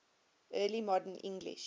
early modern english